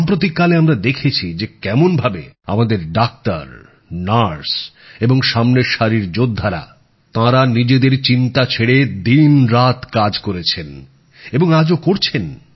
সাম্প্রতিককালে আমরা দেখেছি যে কেমনভাবে আমাদের ডাক্তার নার্স এবং সামনের সারির যোদ্ধারা তাঁরা নিজেদের চিন্তা ছেড়ে দিনরাত কাজ করেছেন এবং আজও করছেন